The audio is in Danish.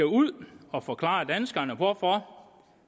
ud og forklare danskerne hvorfor